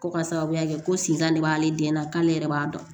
Ko ka sababuya kɛ ko sinkan de b'ale den na k'ale yɛrɛ b'a dɔn